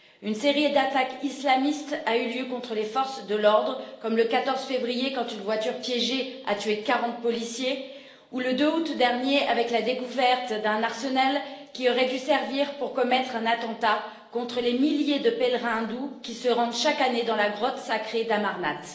Une série d'attaques islamistes a eu lieu contre les forces de l'ordre, comme le 14 février, quand une voiture piégée a tué 40 policiers, ou le 2 août dernier, avec la découverte d'un arsenal qui aurait dû servir pour commettre un attentat contre les milliers de pèlerins hindous qui se rendent chaque année dans la grotte sacrée d'Amarnath.